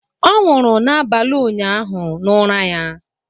Ọ nwụrụ n'abalị ụnyaahụ n'ụra ya